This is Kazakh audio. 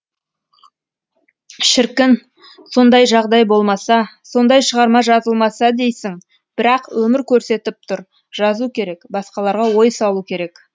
шіркін сондай жағдай болмаса сондай шығарма жазылмаса дейсің бірақ өмір көрсетіп тұр жазу керек басқаларға ой салу керек